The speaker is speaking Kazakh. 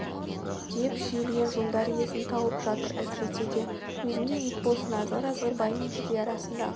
деп шүйілген жолдар иесін тауып жатыр әсіресе да өзіңдей ит болсын азғыр-азғыр бай мен кедей арасындағы